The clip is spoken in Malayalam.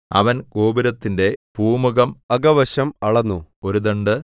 അവൻ ഗോപുരത്തിന്റെ പൂമുഖം അകവശം അളന്നു ഒരു ദണ്ഡ്